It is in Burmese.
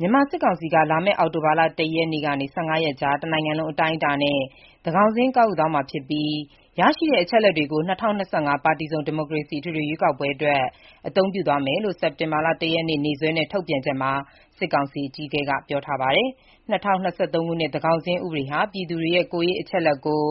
မြန်မာစစ်ကောင်စီက လာမယ့်အောက်တိုဘာ ၁ ရက်ကနေ ၁၅ ရက်ကြား တနိုင်ငံလုံးအတိုင်းအတာနဲ့ သန်းခေါင်စာရင်း ကောက်ယူသွားမှာဖြစ်ပြီး ရရှိတဲ့အချက်အလက်တွေကို ၂၀၂၅ ပါတီစုံ ဒီမိုကရေစီ အထွေထွေရွေးကောက်ပွဲအတွက် အသုံးပြုသွားမယ်လို့မနေ့ စက်တင်ဘာ ၁ ရက်နေ့ ရက်စွဲနဲ့ ထုတ်ပြန်ချက်မှာ စစ်ကောင်စီအကြီးအကဲက ပြောပါတယ်။ ၂၀၂၃ ခုနှစ် သန်းခေါင်းစာရင်း ဥပဒေဟာ ပြည်သူတွေရဲ့ ကိုယ်ရေးအချက်အလက်ကို